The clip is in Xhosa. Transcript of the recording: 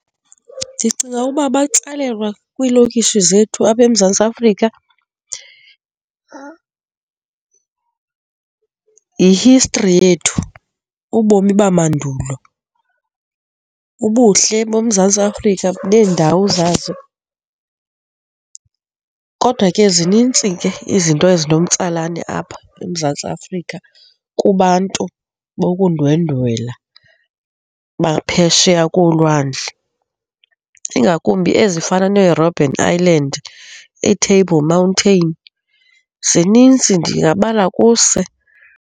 Ndicinga uba batsalelwa kwiilokishi zethu apha eMzantsi Afrika yi-history yethu, ubomi bamandulo, ubuhle boMzantsi Afrika neendawo zazo. Kodwa ke, zinintsi ke izinto ezinomtsalane apha eMzantsi Afrika kubantu bokundwendwela baphesheya kolwandle, ingakumbi ezifana neeRobben Island, iiTable Mountain, zinintsi ndingabala kuse.